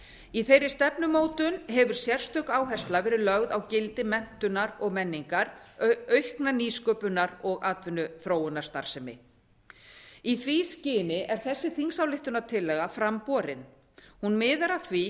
í þeirri stefnumótun hefur sérstök áhersla verið lögð á gildi menntunar og menningar aukinnar nýsköpunar og atvinnuþróunarstarsemi í því skyni er þessi þingsályktunartillaga fram borin hún miðar að því